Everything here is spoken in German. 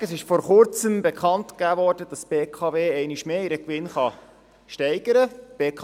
Vorneweg: Es wurde von Kurzem bekannt gegeben, dass die BKW ihren Gewinn einmal mehr steigern kann.